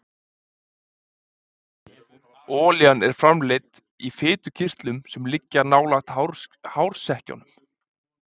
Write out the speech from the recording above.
Olían er framleidd í fitukirtlum sem liggja nálægt hársekkjunum.